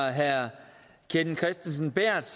af herre kenneth kristensen berth